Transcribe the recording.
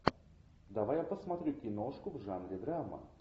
давай я посмотрю киношку в жанре драма